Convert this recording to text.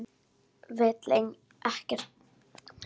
Vill ekkert svar.